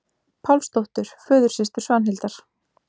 Pálsdóttur, föðursystur Svanhildar.